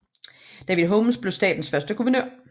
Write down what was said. David Holmes blev statens første guvernør